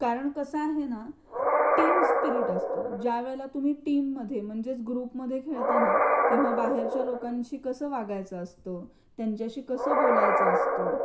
कारण कसा आहे ना ती टीम स्पिरीट असत ज्यावेळी तुम्ही टीम मध्ये म्हणजेच ग्रुपमध्ये खेळताना किंवा बाहेरच्या लोकांशी कसं वागायचं असतं त्यांच्याशी कसं बोलायचं असतं.